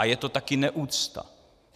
A je to taky neúcta.